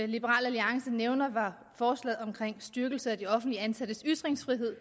liberal alliance nævnte var forslaget om styrkelse af de offentligt ansattes ytringsfrihed